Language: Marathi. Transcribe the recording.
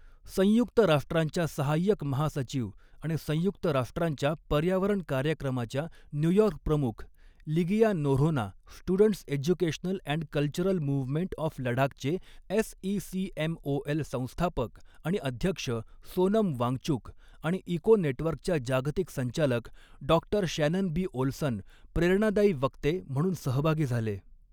संयुक्त राष्ट्रांच्या सहाय्यक महासचिव आणि संयुक्त राष्ट्रांच्या पर्यावरण कार्यक्रमाच्या न्यूयॉर्क प्रमुख Ligia Noronha, students educational and cultural movement of लडाखचे एसइसीएमओएल संस्थापक आणि अध्यक्ष सोनम वांगचुक, आणि इको नेटवर्कच्या जागतिक संचालक डॉ शॅनन बी ओल्सन प्रेरणादायी वक्ते म्हणून सहभागी झाले.